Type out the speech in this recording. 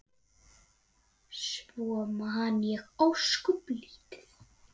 Svo man ég ósköp lítið.